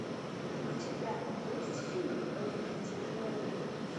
у тебя есть фильм повелитель бури